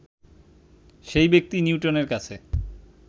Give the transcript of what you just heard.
সেই ব্যক্তি নিউটনের কাছে